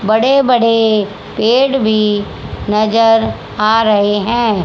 बड़े बड़े पेड़ भी नजर आ रहे है।